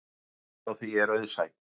Skýringin á því er auðsæ.